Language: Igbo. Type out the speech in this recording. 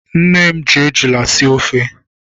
Nne m ji ejula sie ofe.